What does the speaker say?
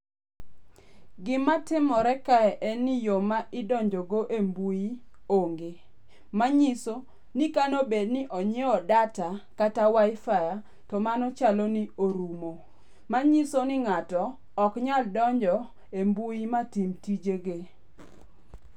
Gimatimore kae en ni yo ma idonjo go e mbui onge. Manyiso ni kane bed ni onyiewo data, kata wifi, to mano chalo ni orumo. Manyiso ni ng'ato ok nyal donjo e mbui matim tije ge.